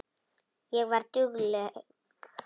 Ég var dugleg.